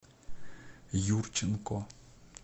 юрченко